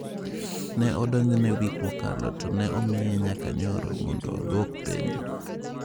Ne odonjne wik mokalo to ne omiye nyaka nyoro mondo odwok penjo.